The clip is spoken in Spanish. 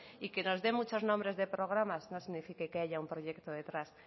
y que nos de muchos nombres de programas no significa que haya un proyecto detrás